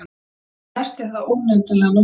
Það snertir þá óneitanlega nokkuð.